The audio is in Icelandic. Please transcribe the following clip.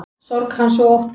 Sorg hans og ótti.